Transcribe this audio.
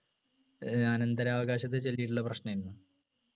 ഏർ അനന്തരാവകാശത്തെ ചൊല്ലിട്ടുള്ള പ്രശ്നായിരുന്നു